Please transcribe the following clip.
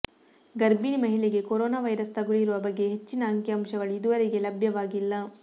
ಗರ್ಭಿಣಿ ಮಹಿಳೆಗೆ corona virus ತಗುಲಿರುವ ಬಗ್ಗೆ ಹೆಚ್ಚಿನ ಅಂಕಿಅಂಶಗಳು ಇದುವರೆಗೆ ಲಭ್ಯವಾಗಿಲ್ಲ